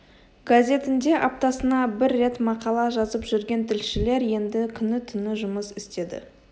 газетінде аптасына бір рет мақала жазып жүрген тілшілер енді күні-түні жұмыс істеді